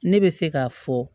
Ne bɛ se k'a fɔ